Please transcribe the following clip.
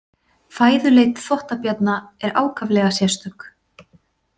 Fæðuleit þvottabjarna er ákaflega sérstök.